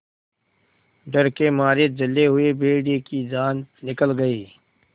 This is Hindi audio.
डर के मारे जले हुए भेड़िए की जान निकल गई